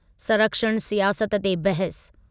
संरक्षण सियाहत ते बहसु